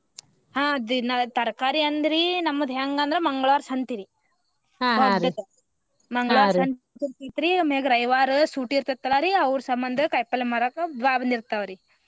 ಹಾ ದಿನಾ ತರಕಾರಿ ಅಂದ್ರಿ ನಮ್ದ್ ಹೆಂಗ್ ಅಂದ್ರ ಮಂಗಳ್ವಾರ್ ಸಂತಿರಿ ಮಂಗಳಾರ ಸಂತಿ ಇರತೆತಿರಿ ಅಮ್ಯಾಗ ರವಿವಾರ ಸೂಟಿ ಇರತೇತಿಲಾ ರಿ ಅವ್ರ ಸಂಬಂದ ಕಾಯಿಪಲ್ಲೆ ಮಾರಾಕ ಊರಾಗ ಬಂದಿರತಾವರಿ .